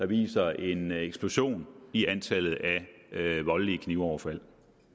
viser en eksplosion i antallet af voldelige knivoverfald